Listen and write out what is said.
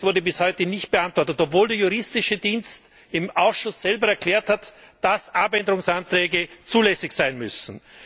Dieser Protest wurde bis heute nicht beantwortet, obwohl der Juristische Dienst im Ausschuss selber erklärt hat, dass Änderungsanträge zulässig sein müssen.